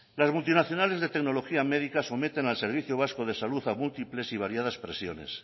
las multinacionales de tecnología médica someten al servicio vasco de salud a múltiples y variadas presiones